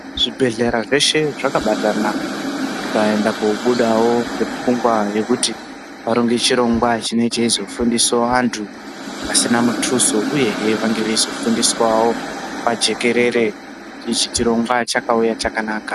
Zvibhedhlera zveshe zvakabatana zvikaenda koobudawo ngepfungwa yekuti varonge chirongwa chinee cheizofundisawo antu pasina mutuso uyehe vange veizofundiswawo pajekerere. Ichi chirongwa chakauya chakanaka.